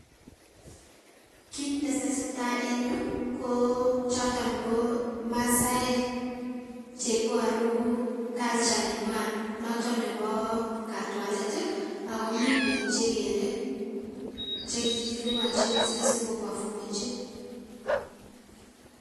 Kiit netesetai en yuu ko choton ko masaek cheiboru culture noton nebo katwalet akomii biik chekeree chekikilibonchi sikobofomenchi.